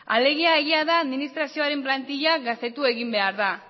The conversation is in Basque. alegia egia da administrazioaren plantila gaztetu egin behar dela